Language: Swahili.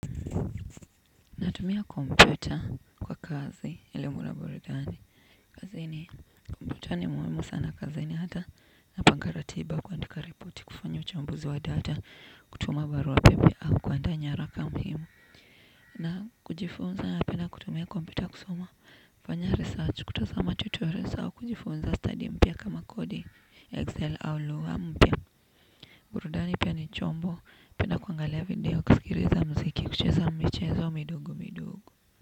Natumia kompyuta kwa kazi ilimura burudani. Kazi ni computer ni muhimu sana kazi ni hata na pangaratiba kundika report kufanya uchambuzi wa data kutuma barua pepe au kuandaa nyaraka muhimu. Na kujifunza napenda kutumia computer kusoma kufanya research kutazama tutorials au kujifunza study mpya kama kodi excel au lugha mpya. Burudani pia ni chombo pia kuangalia video kusilikiza mziki kucheza michezo midogo midogo.